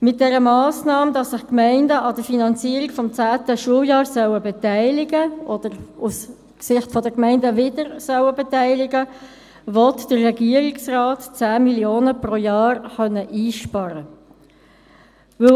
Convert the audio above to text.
Mit der Massnahme, wonach sich die Gemeinden an der Finanzierung des zehnten Schuljahrs beteiligen sollten – oder aus Sicht der Gemeinden sich wieder beteiligen sollten –, will der Regierungsrat 10 Mio. Franken pro Jahr einsparen können.